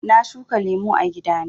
Na shuka lemu a gida na.